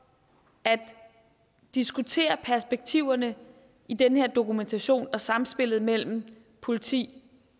at diskutere perspektiverne i den her dokumentation og sammenspillet mellem politi